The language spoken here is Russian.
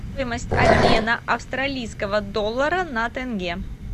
стоимость обмена австралийского доллара на тенге